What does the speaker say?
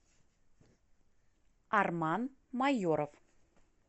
арман майоров